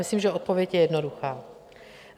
Myslím, že odpověď je jednoduchá.